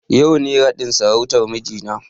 Yau ne raɗin sarautan mijina na